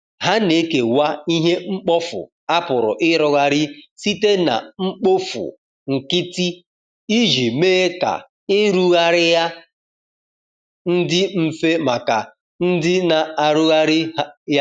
ha na ekewa ihe mkpọfụ a pụrụ irụghari site na mkpofụ nkiti ijii mee ka irughari ha ndi mfe maka ndi na arughari ya